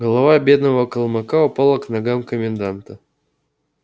голова бедного калмыка упала к ногам коменданта